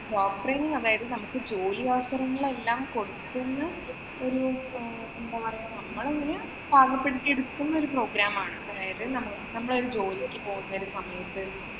അതായത് നമുക്ക് ജോലി offer എല്ലാം കൊടുക്കുന്ന ഒരു എന്താ പറയ്ക നമ്മളെ അങ്ങനെ പാകപ്പെടുത്തിയെടുക്കുന്ന ഒരു program ആണ്. അതായത് നമ്മള് ഒരു ജോലിക്ക് പോകുന്ന ഒരു സമയത്ത്